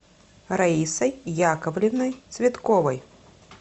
раисой яковлевной цветковой